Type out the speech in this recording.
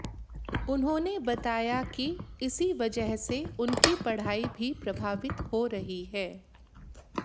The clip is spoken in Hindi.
उन्होंने बताया कि इसी वजह से उनकी पढ़ाई भी प्रभावित हो रही है